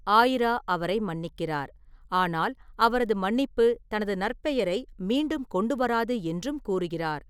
ஆயிரா அவரை மன்னிக்கிறார், ஆனால் அவரது மன்னிப்பு தனது நற்பெயரை மீண்டும் கொண்டு வராது என்றும் கூறுகிறார்.